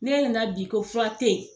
N'e na na bi ko fura tɛ ye.